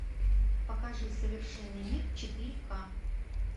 покажи совершенный мир четыре ка